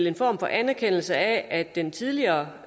en form for anerkendelse af at den tidligere